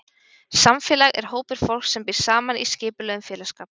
Samfélag er hópur fólks sem býr saman í skipulögðum félagsskap.